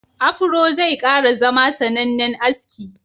Afuro zai kara zama sanannen aski.